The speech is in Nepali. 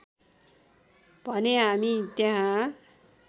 भने हामी त्यहाँ